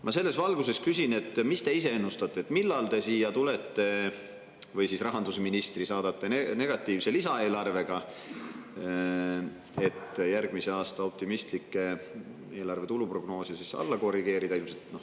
Ma selles valguses küsin: mis te ise ennustate, millal te tulete või saadate rahandusministri siia negatiivse lisaeelarvega, et järgmise aasta eelarve optimistlikke tuluprognoose alla korrigeerida?